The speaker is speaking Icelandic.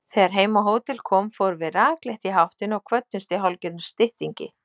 Þegar heim á hótel kom fórum við rakleitt í háttinn og kvöddumst í hálfgerðum styttingi.